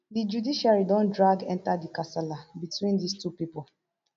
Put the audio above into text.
di judiciary don drag enta di kasala between dis two pipo